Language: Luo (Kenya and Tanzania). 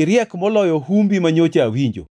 iriek moloyo humbi manyocha awinjo.